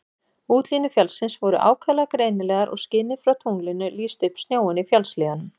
Útlínur fjallsins voru ákaflega greinilegar og skinið frá tunglinu lýsti upp snjóinn í fjallshlíðunum.